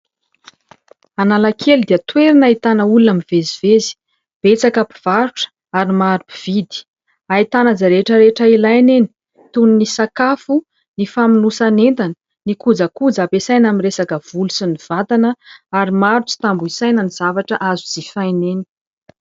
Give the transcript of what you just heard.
Analakely dia toerana ahitana olona mivezivezy, betsaka mpivarotra ary maro mpividy. Ahitana izay rehetra rehetra ilaina eny toy ny sakafo, ny famonosan'entana, ny kojakoja ampiasaina amin'ny resaka volo sy ny vatana ; ary maro tsy tambo isaina ny zavatra azo jifaina eny.